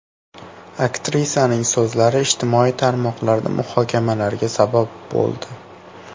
Aktrisaning so‘zlari ijtimoiy tarmoqlarda muhokamalarga sabab bo‘ldi.